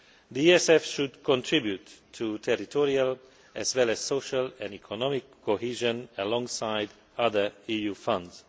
The ESF should contribute to territorial as well as social and economic cohesion alongside other EU funds.